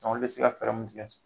olu bɛ se ka fɛɛrɛ mun tigɛ